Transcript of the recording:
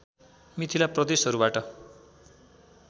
Mithila प्रदेशहरूबाट